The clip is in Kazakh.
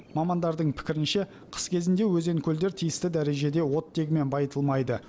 мамандардың пікірінше қыс кезінде өзен көлдер тиісті дәрежеде оттегімен байытылмайды